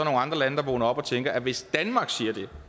andre lande der vågner op og tænker at hvis danmark